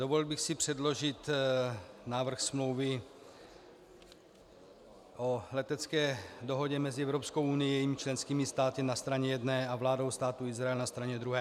Dovolil bych si předložit návrh smlouvy o letecké dohodě mezi Evropskou unií a jejími členskými státy na straně jedné a vládou Státu Izrael na straně druhé.